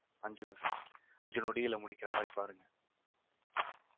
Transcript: அஞ்சு அஞ்சு நொடியில முடிக்கிற மாதிரி பாருங்க